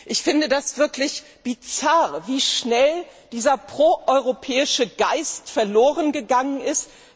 Ich finde das wirklich bizarr, wie schnell dieser pro europäische Geist verlorengegangen ist.